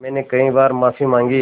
मैंने कई बार माफ़ी माँगी